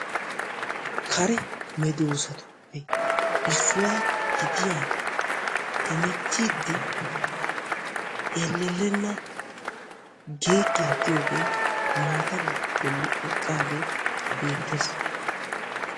Kare meedosotuppe issuwaa gidiyaa hemettiidi ellelenna geeggiyaa giyoogee maata bolli eqqaagee beettees.